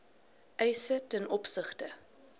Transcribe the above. eise ten opsigte